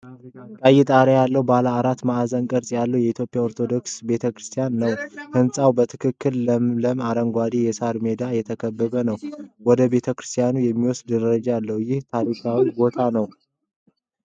ቀይ ጣሪያ እና ባለ አራት ማዕዘን ቅርጽ ያለው የኢትዮጵያ ቤተ ክርስቲያን ነው። ህንፃው በትልቅ ለምለም አረንጓዴ የሳር ሜዳ የተከበበ ነው። ወደ ቤተ ክርስቲያኑ የሚወስድ ደረጃ አለ። ይህ ታሪካዊ ቦታ ነው?